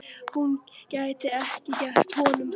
Hún gæti ekki gert honum það.